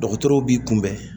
Dɔgɔtɔrɔw b'i kunbɛn